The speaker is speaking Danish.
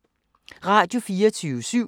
Radio24syv